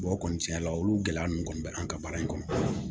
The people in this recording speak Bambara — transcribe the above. o kɔni tiɲɛ yɛrɛ la olu gɛlɛya ninnu kɔni bɛ an ka baara in kɔnɔ